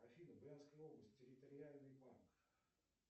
афина брянская область территориальный банк